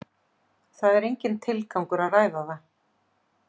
Það er enginn tilgangur að ræða það.